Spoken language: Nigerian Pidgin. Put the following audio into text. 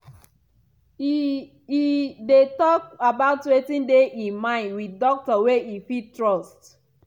e e dey talk about wetin dey e mind wit doctor wey e fit trust.